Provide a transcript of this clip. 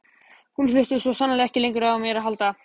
Hún þurfti svo sannarlega ekki lengur á mér að halda.